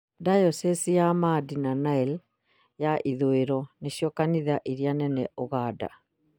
dayosi ya Madi na Nile ya ithũĩro nĩcio kanitha iria nene Ūganda